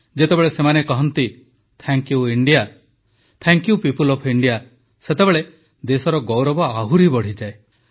ଯେତେବେଳେ ସେମାନେ କହନ୍ତି thank you India thank you people of India ସେତେବେଳେ ଦେଶର ଗୌରବ ଆହୁରି ବଢ଼ିଯାଏ